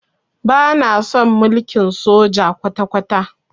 Bana son mulkin soja kwata-kwata.